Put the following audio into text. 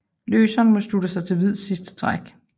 Løseren må slutte sig til hvids sidste træk